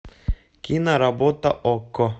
киноработа окко